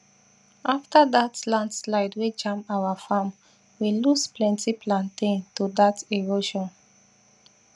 after dat landslide wey jam our farm we loss plenty plaintain to that erosion